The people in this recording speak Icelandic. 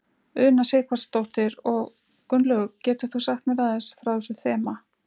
Una Sighvatsdóttir: Og Gunnlaugur getur þú sagt mér aðeins frá þessu þema?